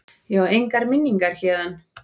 Ég á engar minningar héðan.